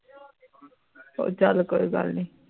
ਉਹ ਚਾਲ ਕੋਈ ਗੱਲ ਨੀ